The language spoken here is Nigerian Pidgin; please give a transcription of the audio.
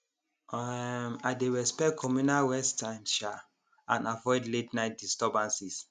um i dey respect communal rest times um and avoid la ten ight disturbances